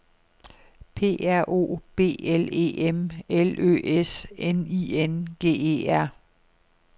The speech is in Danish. P R O B L E M L Ø S N I N G E R